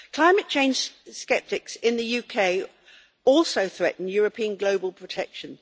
Climate change sceptics in the UK also threaten European global protection.